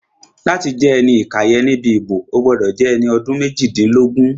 Láti jẹ́ ẹni ìkàyẹ̀ níbi ìbò, o gbọ́dọ̀ jẹ́ ẹni ọdún méjìdínlógún